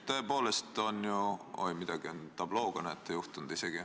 Oi, näete, isegi tablooga on midagi juhtunud.